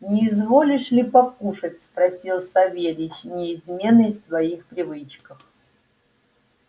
не изволишь ли покушать спросил савельич неизменный в своих привычках